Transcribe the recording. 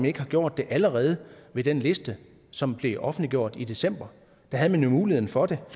ikke har gjort det allerede ved den liste som blev offentliggjort i december der havde man jo muligheden for det